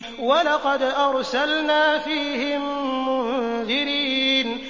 وَلَقَدْ أَرْسَلْنَا فِيهِم مُّنذِرِينَ